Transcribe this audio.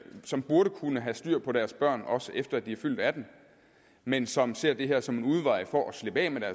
som burde kunne have styr på deres børn også efter at de er fyldt atten år men som ser det her som en udvej for at slippe af med